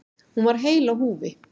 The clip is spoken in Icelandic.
Hún var heil á húfi.